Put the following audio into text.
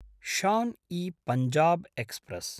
Shaan e Punjab express